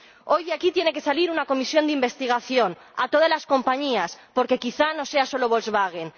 Hoy de aquí tiene que salir una comisión de investigación a todas las compañías porque quizá no sea solo Volkswagen.